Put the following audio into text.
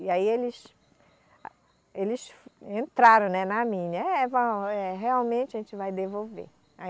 E aí eles, eles entraram, né, na minha, é vão, é, realmente a gente vai devolver.